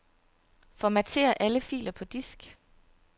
Formater alle filer på disk.